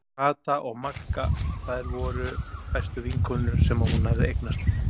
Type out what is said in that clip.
Og Kata og Magga, þær voru bestu vinkonur sem hún hafði eignast.